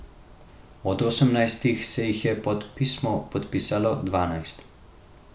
Od sedemnajstih se jih je pod pismo podpisalo dvanajst.